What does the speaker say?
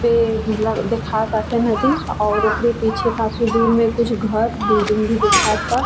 के मतलब दिखाताटे नदी और ओकरे पीछे काफी दूर में कुछ घर बिल्डिंग भी दिखाता।